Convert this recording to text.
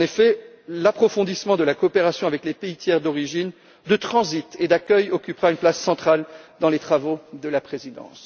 En effet, l'approfondissement de la coopération avec les pays tiers d'origine, de transit et d'accueil occupera une place centrale dans les travaux de la présidence.